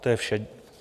To je vše.